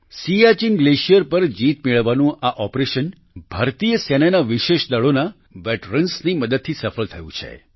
Siachen glacier પર જીત મેળવવાનું આ ઓપરેશન ભારતીય સેનાના વિશેષ દળોના વેટરન્સ ની મદદથી સફળ થયું છે